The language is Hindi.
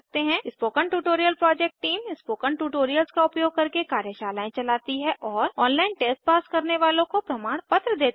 spoken tutorial project team spoken tutorials का उपयोग करके कार्यशालाएँ चलती है और ऑनलाइन टेस्ट पास करने वालों को पमाणपत्र देते हैं